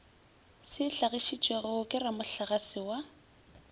se hlagišitšwego ke ramohlagase wa